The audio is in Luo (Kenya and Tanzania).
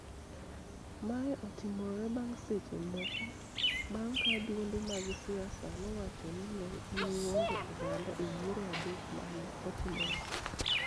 Mae otimore bang� seche moko bang� ka duonde mag siasa nowacho ni ne giwuondo oganda e yiero adek ma ne otimore